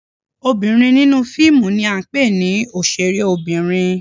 Obinrin ninu fiimu ni a ńpe ni oṣere obinrin.